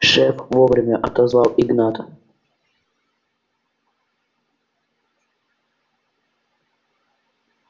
шеф вовремя отозвал игната